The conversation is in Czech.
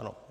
Ano.